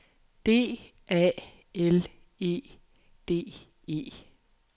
D A L E D E